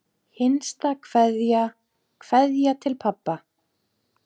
HINSTA KVEÐJA Kveðja til pabba.